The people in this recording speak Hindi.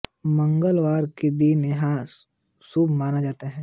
मंगलवार का दिन यहां शुभ माना जाता है